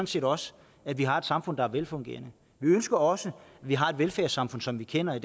set også at vi har et samfund der er velfungerende vi ønsker også at vi har et velfærdssamfund som vi kender i